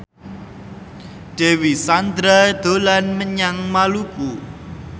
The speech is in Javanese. Dewi Sandra dolan menyang Maluku